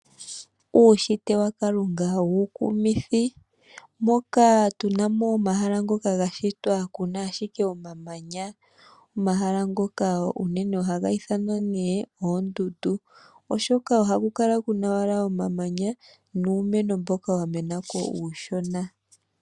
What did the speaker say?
Uushitwe wa kalunga uukumithi moka tunamo omahala ngoka ga shitwa, kuna ashike omamanya. Omahala ngoka unene ohaga ithanwa ta kuti oondundu, oshoka ohaku kala wala kuna omamanya nuumeno mboka wa menako uushona.